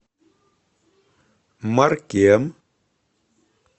маркем